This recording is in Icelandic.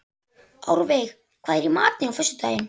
Árveig, hvað er í matinn á föstudaginn?